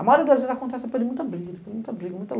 A maioria das vezes acontece depois de muita briga, muita luta.